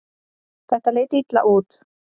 Þetta leit illa út.